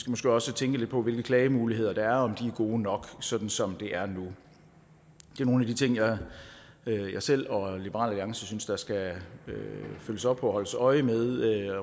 måske også tænke lidt på hvilke klagemuligheder der er og om de er gode nok sådan som det er nu det er nogle af de ting jeg selv og liberal alliance synes der skal følges op på og holdes øje med i